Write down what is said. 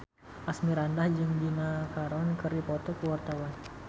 Asmirandah jeung Gina Carano keur dipoto ku wartawan